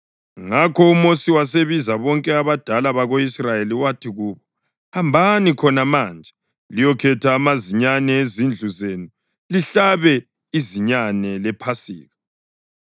Ngakho uMosi wasebiza bonke abadala bako-Israyeli wathi kubo, “Hambani khona manje liyokhetha amazinyane ezindlu zenu lihlabe izinyane lePhasika.